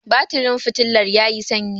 batirin fitilar ya yi sanyi